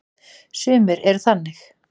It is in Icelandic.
Sumir eru þannig.